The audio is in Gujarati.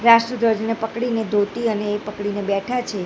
રાષ્ટ્રધ્વજને પકડીને ધોતી અને એ પકડીને બેઠા છે.